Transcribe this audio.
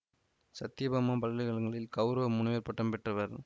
சத்யபாமா பல்கலை கழகத்தில் கௌரவ முனைவர் பட்டம் பெற்றவர்